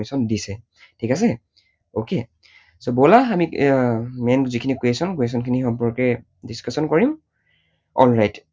ঠিক আছে? okay? বলা আমি এৰ main যিখিনি question সেই question খিনিৰ সম্পৰ্কে discussion কৰিম। alright